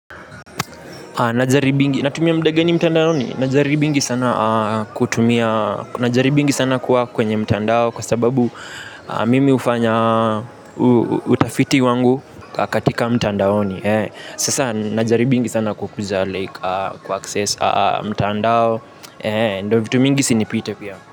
Natumia muda gani mtandaoni najaribingi sana kutumia najaribingi sana kuwa kwenye mtandao kwa sababu mimi hufanya utafiti wangu katika mtandaoni. Sasa najaribingi sana kukuja like kuaccess mtandao. Ndiyo vitu mingi isinipite pia.